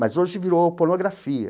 Mas hoje virou pornografia.